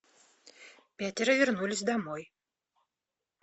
пятеро вернулись домой